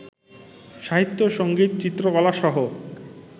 সাহিত্য, সংগীত, চিত্রকলাসহ